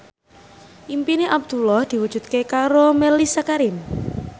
impine Abdullah diwujudke karo Mellisa Karim